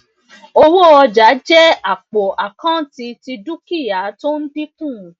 owó ọjà jẹ àpò àkántì ti dúkìá tó ń dínkù